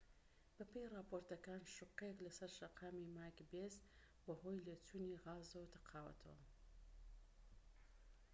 بەپێی ڕاپۆرتەکان شوقەیەك لەسەر شەقامی ماکبێس بەهۆی لێچوونی غازەوە تەقاوەتەوە